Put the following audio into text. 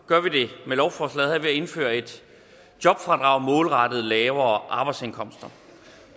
gør vi det med lovforslaget her ved at indføre et jobfradrag målrettet lavere arbejdsindkomster